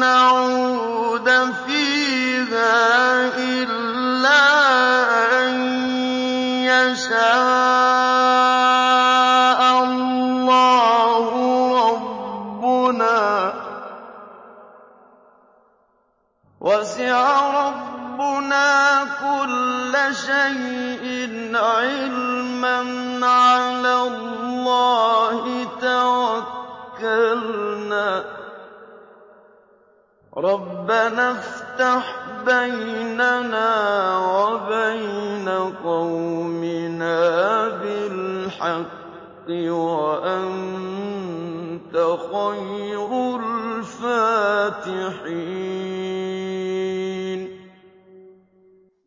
نَّعُودَ فِيهَا إِلَّا أَن يَشَاءَ اللَّهُ رَبُّنَا ۚ وَسِعَ رَبُّنَا كُلَّ شَيْءٍ عِلْمًا ۚ عَلَى اللَّهِ تَوَكَّلْنَا ۚ رَبَّنَا افْتَحْ بَيْنَنَا وَبَيْنَ قَوْمِنَا بِالْحَقِّ وَأَنتَ خَيْرُ الْفَاتِحِينَ